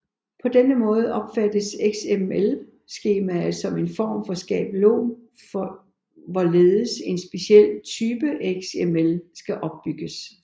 På denne måde opfattes XML skemaet som en form for skabelon for hvorledes en speciel type XML skal opbygges